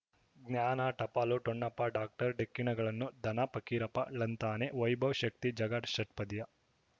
ಜ್ಞಾನ ಟಪಾಲು ಠೊಣಪ ಡಾಕ್ಟರ್ ಢಿಕ್ಕಿ ಣಗಳನು ಧನ ಫಕೀರಪ್ಪ ಳಂತಾನೆ ವೈಭವ್ ಶಕ್ತಿ ಝಗಾ ಷಟ್ಪದಿಯ